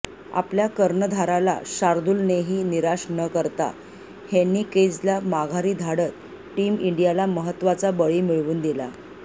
आपल्या कर्णधाराला शार्दुलनेही निराश न करता हेन्रिकेजला माघारी धाडत टीम इंडियाला महत्वाचा बळी मिळवून दिला